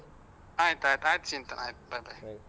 ಆಯ್ತ್ ಆಯ್ತ್ ಆಯ್ತು ಚಿಂತನ್ ಆಯ್ತು bye, bye.